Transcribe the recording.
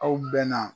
Aw bɛn na